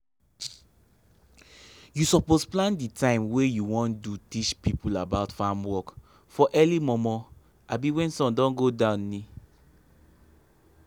u suppose plan di time wey u won do teach pipo about farm work for early momo abi when sun don go down um